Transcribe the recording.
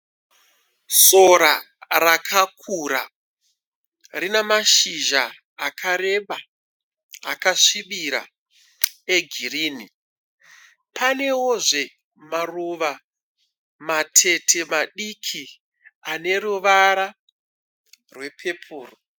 Sora rakakura rina mashizha akareba akasvibira egirini. Panewozve maruva matete madiki ane ruvara rwepepuro.